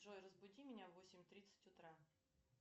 джой разбуди меня в восемь тридцать утра